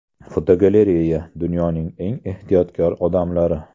Fotogalereya: Dunyoning eng ehtiyotkor odamlari.